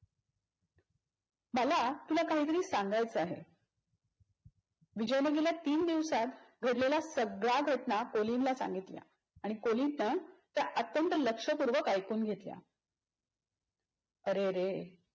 मला तुला काहीतरी सांगायच आहे. विजयने गेल्या तीन दिवसात घडलेल्या सगळ्या घटना कोलिनला सांगितल्या आणि कोलिनने त्या अत्यंत लक्षपूर्वक ऐकून घेतल्या. अरेरे